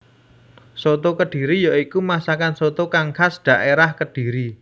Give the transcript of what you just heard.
Soto kediri ya iku masakan soto kang khas dhaérah Kediri